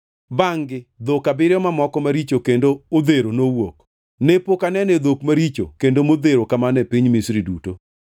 Bangʼ-gi dhok abiriyo mamoko maricho kendo odhero nowuok. Ne pok anenoe dhok maricho kendo modhero kamano e piny Misri duto.